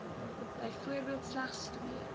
byvoorbeeld slegs twee